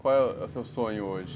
Qual é o seu sonho hoje?